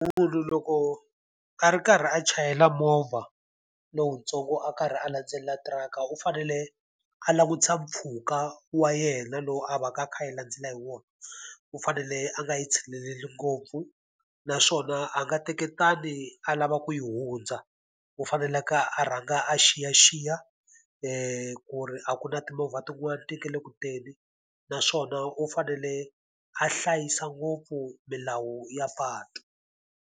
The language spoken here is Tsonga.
Munhu loko a ri karhi a chayela movha lowuntsongo a karhi a landzelela tirhaka u fanele a langutisa mpfhuka wa yena lowu a va ka a kha a yi landzela hi wona. U fanele a nga yi tshinelela ngopfu, naswona a nga teketani a lava ku yi hundza. U fanele a rhanga a xiyaxiya ku ri a ku na timovha tin'wani ti nga le ku teni naswona u fanele a hlayisa ngopfu milawu ya patu.